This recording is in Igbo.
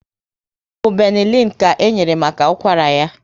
Ọbụ Benelin ka ị enyere maka ụkwara ya?